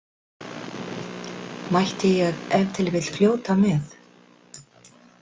Mætti ég ef til vill fljóta með?